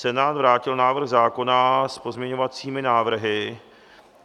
Senát vrátil návrh zákona s pozměňovacími návrhy.